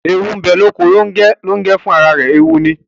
Eewu bẹ loko Longẹ, Longẹ fun ará rẹ eewu ní